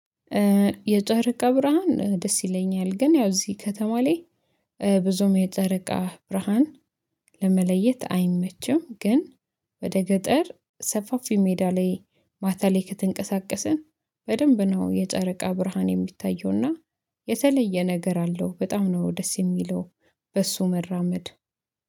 የጨረቃ ብርሃን ደስ ይለኛል ግን ያው እዚህ ከተማ ላይ ብዙም የጨረቃ ብርሃን። ለመለየት አይመችም ግን ወደ ገጠር ሰፋፊ ሜዳ ላይ ማታ ላይ ከተንቀሳቀስን በደንብ ነው። የጨረቃ ብርሃን የሚታየውና የተለየ ነገር አለው በጣም ነው ደስ የሚለው። በሱ መራመድ